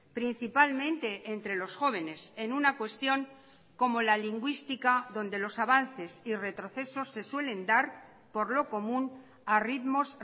principalmente entre los jóvenes en una cuestión como la lingüística donde los avances y retrocesos se suelen dar por lo común a ritmos